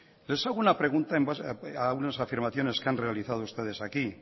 les hago una pregunta en base a unas afirmaciones que han realizado ustedes aquí